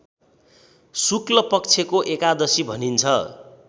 शुक्लपक्षको एकादशी भनिन्छ